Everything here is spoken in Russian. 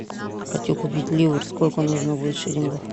хочу купить ливр сколько нужно будет шиллингов